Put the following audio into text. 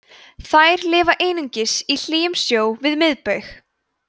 þær lifa einungis í hlýjum sjó við miðbaug